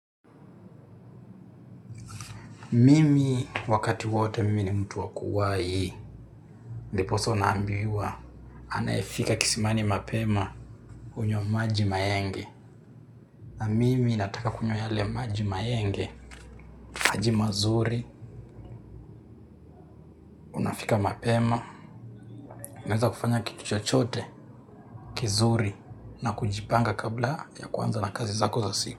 Mimi wakati wote mimi ni mtu wa kuwahi. Ndiposa unaambiwa anayefika kisimani mapema hunywa maji maenge. Na mimi nataka kunywa yale maji maenge, maji mazuri, fika mapema, naweza kufanya kitu chochote kizuri, na kujipanga kabla ya kuanza na kazi zako za siku.